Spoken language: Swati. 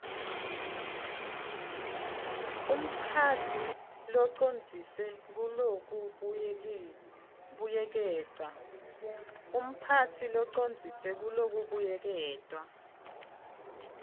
umphatsi locondziswe kulokubuyeketwa